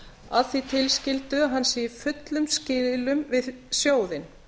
að því tilskildu að hann sé í fullum skilum við sjóðinn